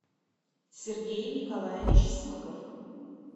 сергей николаевич смыков